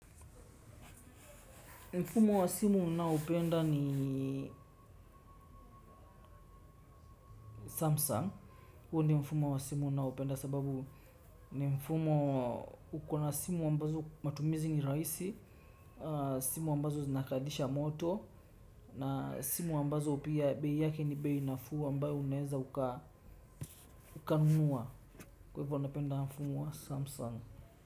Mfumo wa simu ninaoupenda ni Samsung. Huu ni mfumo wa simu ninaoupenda sababu ni mfumo uko na simu ambazo matumizi ni rahisi. Simu ambazo zinakalisha moto. Na simu ambazo pia bei yake ni bei nafuu ambayo unaweza ukanunua. Kwa hivyo, ninapenda mfumo wa Samsung.